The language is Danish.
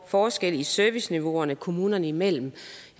forskelle i serviceniveauerne kommunerne imellem